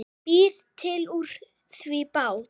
Býr til úr því bát.